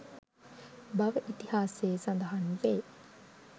බව ඉතිහාසයේ සඳහන් වේ